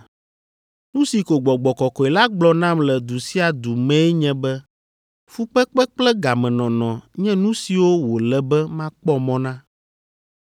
Nu si ko Gbɔgbɔ Kɔkɔe la gblɔ nam le du sia du mee nye be fukpekpe kple gamenɔnɔ nye nu siwo wòle be makpɔ mɔ na.